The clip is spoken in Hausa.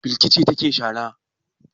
Balki ce take shara.